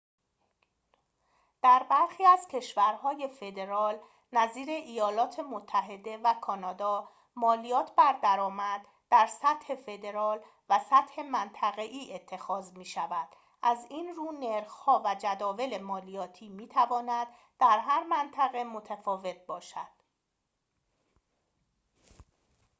در برخی از کشورهای فدرال نظیر ایالات متحده و کانادا مالیات بر درآمد در سطح فدرال و سطح منطقه‌ای اتخاذ می‌شود از این رو نرخ‌ها و جداول مالیاتی می‌تواند در هر منطقه متفاوت باشد